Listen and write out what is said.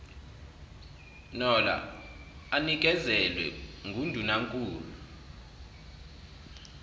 nola anikezelwe ngundunankulu